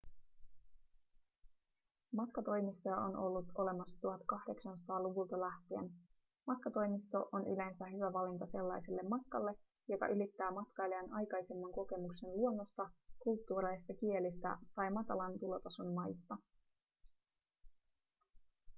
matkatoimistoja on ollut olemassa 1800-luvulta lähtien matkatoimisto on yleensä hyvä valinta sellaiselle matkalle joka ylittää matkailijan aikaisemman kokemuksen luonnosta kulttuureista kielistä tai matalan tulotason maista